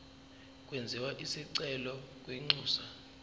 kwenziwe isicelo kwinxusa